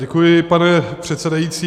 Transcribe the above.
Děkuji, pane předsedající.